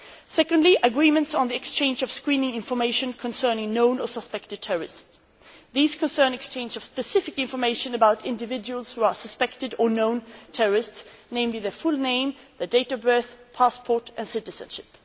Secondly, agreements on the exchange of screening information concerning known or suspected terrorists these concern exchange of specific information about individuals who are suspected or known terrorists, namely, their full name, their date of birth, passport and citizenship.